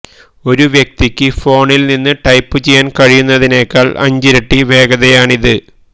ഒരു വ്യക്തിക്ക് ഫോണിൽ നിന്ന് ടൈപ്പുചെയ്യാൻ കഴിയുന്നതിനേക്കാൾ അഞ്ചിരട്ടി വേഗതയാണിത്